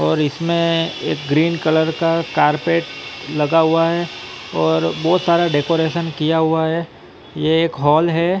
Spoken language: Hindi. और इसमें एक ग्रीन कलर का कारपेट लगा हुआ है और बहुत सारा डेकोरेशन किया हुआ है ये एक हॉल है।